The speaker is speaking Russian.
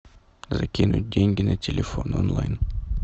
закинуть деньги на телефон онлайн